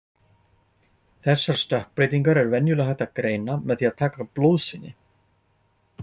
Þessar stökkbreytingar er venjulega hægt að greina með því að taka blóðsýni.